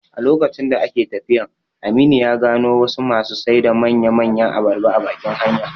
A lokacin da ake tafiyan, Aminu ya gano wasu masu sai da manya manyan abarba a bakin hanya